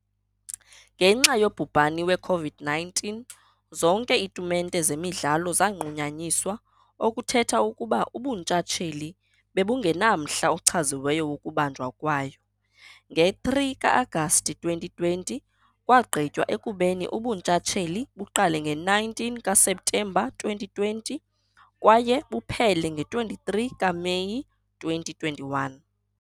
Ngenxa yobhubhani we-COVID-19, zonke iitumente zemidlalo zanqunyanyiswa, okuthetha ukuba ubuntshatsheli bebungenamhla ochaziweyo wokubanjwa kwayo. Nge-3 ka-Agasti 2020, kwagqitywa ekubeni ubuntshatsheli buqale nge-19 kaSeptemba 2020 kwaye buphele nge-23 kaMeyi 2021.